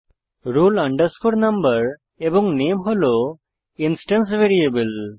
roll number এবং নামে হল ইনস্টেন্স ভ্যারিয়েবল